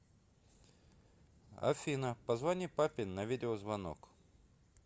афина позвони папе на видеозвонок